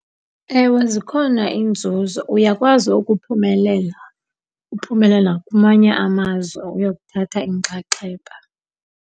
Ewe zikhona inzuzo. Uyakwazi ukuphumelela, uphumele nakumanye amazwe uyokuthatha inxaxheba.